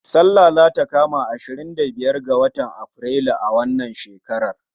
Sallah zata kama ashirin da biyar ga watan Aprilu a wannan shekarar